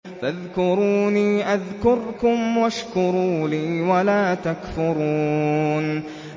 فَاذْكُرُونِي أَذْكُرْكُمْ وَاشْكُرُوا لِي وَلَا تَكْفُرُونِ